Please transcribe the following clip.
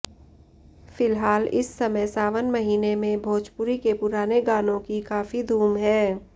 फिलहाल इस समय सावन महीने में भोजपुरी के पुराने गानों की काफी धूम है